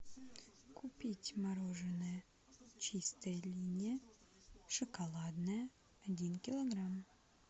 купить мороженое чистая линия шоколадное один килограмм